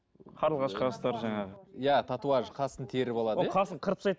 қарлығаш қастар жаңағы иә татуаж қасын теріп алады иә ол қасын қырып тастайды